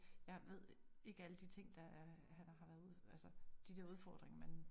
Jeg ved ikke alle de ting der er har været ud altså de der udfordringer men